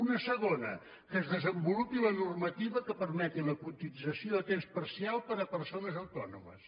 una segona que es desenvolupi la normativa que permeti la cotització a temps parcial per a persones autònomes